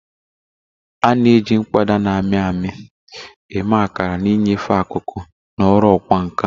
A na-eji mkpọda na-amị amị eme akara na ịnyefe akụkụ na ọrụ ọkwá nkà